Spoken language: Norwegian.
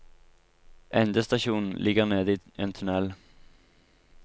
Endestasjonen ligger nede i en tunnel.